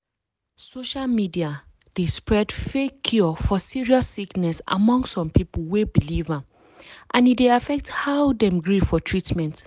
social media d spread fake cure for serious sickness among some people wey believe am and e dey affect how dem gree for treatment.